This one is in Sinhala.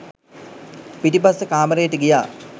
පිටිපස්සෙ කාමරේට ගියා